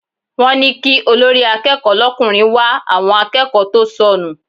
Wọ́n ní kí olórí akẹ́kọ̀ọ́ l'ọkùnrin wá àwọn akẹ́kọ̀ọ́ tó sọnù.